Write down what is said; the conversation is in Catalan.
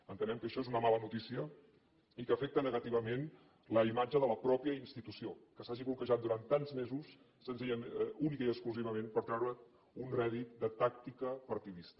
entenem que això és una mala notícia i que afecta negativament la imatge de la mateixa institució que s’hagi bloquejat durant tants mesos únicament i exclusivament per treure’n un rèdit de tàctica partidista